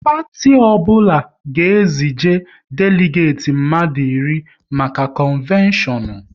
Parti ọbụla ga e zije deligeti mmadụ iri maka konveshonu